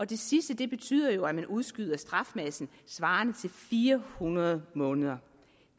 det sidste betyder jo at man udskyder strafmassen svarende til fire hundrede måneder